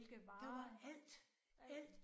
Det var alt alt